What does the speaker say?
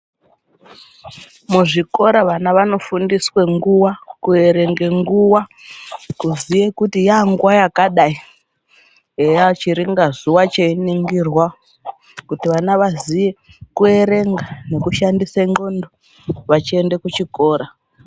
Muzvikora vana anofundiswe nguwa kuerenga nguwa, kuziye kuti yanguwa yakadai eya chiringa zuwa cheiningirwa kuti vana vaziye kuerenga nekushandise ndhlondo vachiende kuchikora.